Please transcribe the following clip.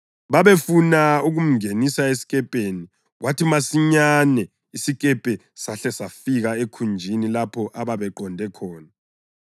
Babefuna ukumngenisa esikepeni, kwathi masinyane isikepe sahle safika ekhunjini lapho ababeqonde khona.